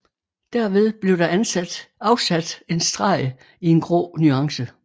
Derved blev der afsat en streg i en grå nuance